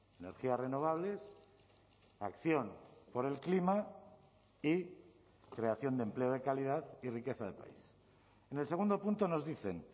energías renovables acción por el clima y creación de empleo de calidad y riqueza del país en el segundo punto nos dicen